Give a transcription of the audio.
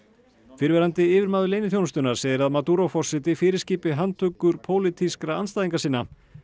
fyrrverandi yfirmaður leyniþjónustunnar segir að forseti fyrirskipi handtökur pólitískra andstæðinga sinna